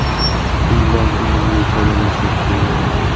Undan unumli foydalansak bo‘ladi.